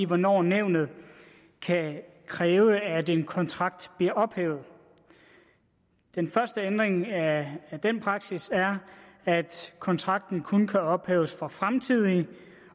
hvornår nævnet kan kræve at en kontrakt bliver ophævet den første ændring af den praksis er at kontrakten kun kan ophæves for fremtidige